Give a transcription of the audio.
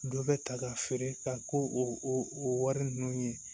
Dɔ bɛ ta ka feere ka k'o o wari ninnu ye